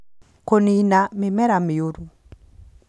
Kũniina mĩmera mĩũru